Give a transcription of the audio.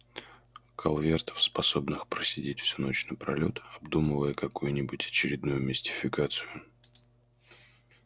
калвертов способных просидеть всю ночь напролёт обдумывая какую-нибудь очередную мистификацию